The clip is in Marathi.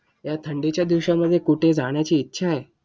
या थंडीच्या दिवसांमध्ये कुठे जाण्याची इच्छा आहे?